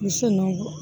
Misi nunnu kɔ